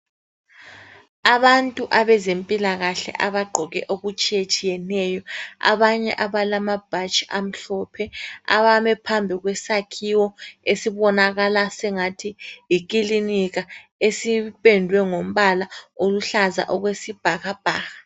Abantu abezempilakahle abagqoke okutshiyetshiyeneyo .Abanye abalama bhatshi amhlophe ,abame phambi kwesakhiwo esibonakala sengathi yikilinika .Esipendwe ngombala oluhlaza okwesibhakabhaka.